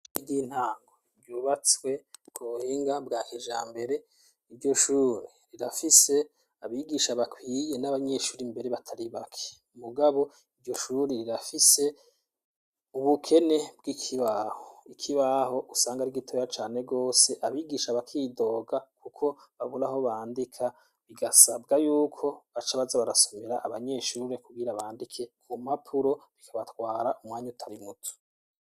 Iyintango ryubatswe kuhinga bwa keja mbere iryo shuri rirafise abigisha bakwiye n'abanyeshuri imbere batari bake umugabo iryo shuri rirafise ubukene bw'ikibah ikibaho usange ari igitoya cane rwose abigisha abakidoga, kuko baburaho bandika bigasabwa yuko baca baza barasomera abanyeshure kubwira bandike ngumapuro bikabatwara umwanya utari mutu.